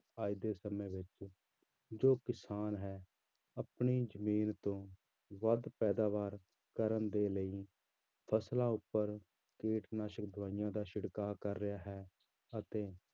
ਅੱਜ ਦੇ ਸਮੇਂ ਵਿੱਚ ਜੋ ਕਿਸਾਨ ਹੈ ਆਪਣੀ ਜ਼ਮੀਨ ਤੋਂ ਵੱਧ ਪੈਦਾਵਾਰ ਕਰਨ ਦੇ ਲਈ ਫ਼ਸਲਾਂ ਉੱਪਰ ਕੀਟਨਾਸ਼ਕ ਦਵਾਈਆਂ ਦਾ ਛਿੜਕਾ ਕਰ ਰਿਹਾ ਹੈ ਅਤੇ